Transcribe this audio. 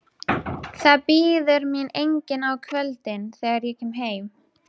Það bíður mín enginn á kvöldin, þegar ég kem heim.